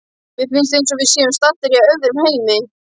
Mér finnst eins og við séum staddar í öðrum heimi.